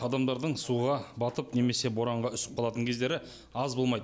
адамдардың суға батып немесе боранға үсіп қалатын кездері аз болмайды